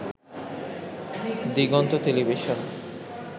Diganta television